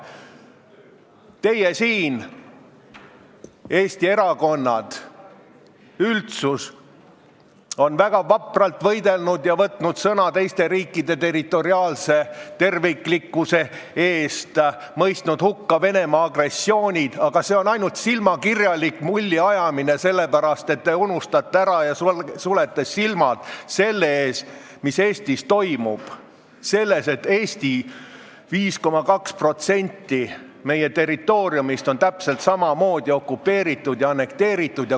Teie siin, Eesti erakonnad, olete ja ka üldsus on väga vapralt võidelnud ja võtnud sõna teiste riikide territoriaalse terviklikkuse eest, mõistnud hukka Venemaa agressioonid, aga see on ainult silmakirjalik mulliajamine, sest te unustate ära selle ja sulete silmad selle ees, mis Eestis toimub, selle ees, et 5,2% meie territooriumist on täpselt samamoodi okupeeritud ja annekteeritud.